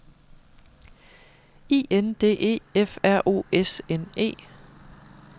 I N D E F R O S N E